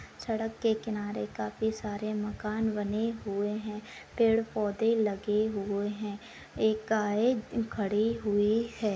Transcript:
सड़क के किनारे काफी सारे मकान बने हुए है पेड़-पौधे लगे हुए है एक-का-एक खड़े हुए है।